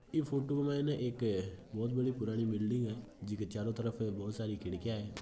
यह फोटू में एक बहुत बड़ी पुराणी बिल्डिग है चारो तरफ खिडकिया है।